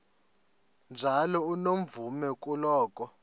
njalo unomvume kuloko